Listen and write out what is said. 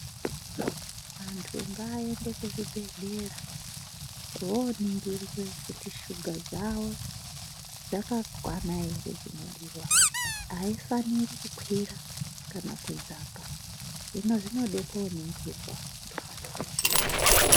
Vantu ngavaende kuzvibhedhlera kuhoningirwe kuti shuga dzavo dzakakwana here dzinodiwa, haifaniri kukwira kana kudzaka. Hino zvinode kunoningirwa ngemadhokodheya.